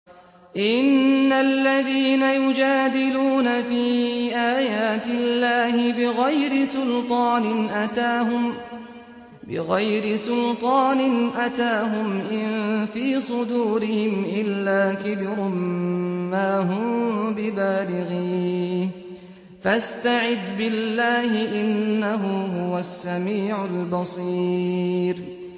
إِنَّ الَّذِينَ يُجَادِلُونَ فِي آيَاتِ اللَّهِ بِغَيْرِ سُلْطَانٍ أَتَاهُمْ ۙ إِن فِي صُدُورِهِمْ إِلَّا كِبْرٌ مَّا هُم بِبَالِغِيهِ ۚ فَاسْتَعِذْ بِاللَّهِ ۖ إِنَّهُ هُوَ السَّمِيعُ الْبَصِيرُ